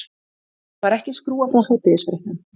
Það var ekki skrúfað frá hádegisfréttum.